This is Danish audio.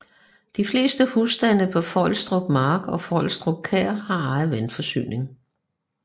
De fleste husstande på Fløjstrup Mark og Fløjstrup Kær har egen vandforsyning